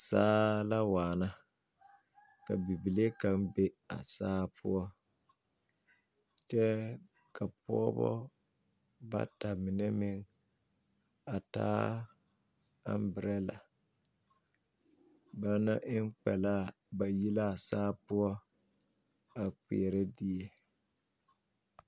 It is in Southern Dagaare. Saa la waana ka bibile kaŋ be a saa poɔ kyɛ ka pɔgeba bata mine meŋ a taa aŋberɛla ba na eŋ kpɛ laa bayi laa saa poɔ a kpeɛrɛ die.